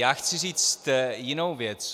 Já chci říct jinou věc.